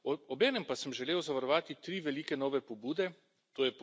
Obenem pa sem želel zavarovati tri velike nove pobude, tj.